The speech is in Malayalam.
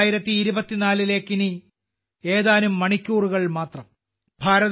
2024ലേക്ക് ഇനി ഏതാനും മണിക്കൂറുകൾ മാത്രം